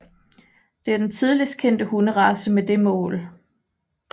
Det er den tidligst kendte hundrace med det mål